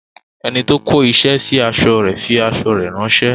Enito kó isẹ sí aṣọ fi aṣọ rè ránsẹ́